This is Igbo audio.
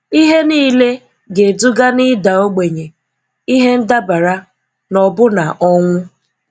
ihe niile ga-eduga na ịda ogbenye, ihe ndabara, na ọbụna ọnwụ.